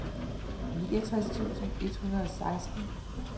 niogtres tusind et hundrede og seksten